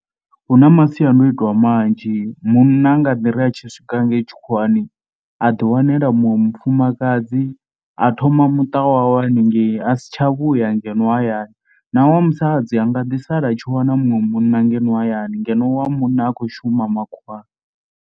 Hu na masiandoitwa manzhi munna a nga ḓi ri a tshi swika ngei tshikhuwani a ḓiwanela muṅwe mufumakadzi a thoma muṱa wawe haningei a si tsha vhuya ngeno hayani. Na wa musadzi an ga ḓi sala at shi wana muṅwe munna ngeno hayani ngeno wa munna a khou shuma makhuwani.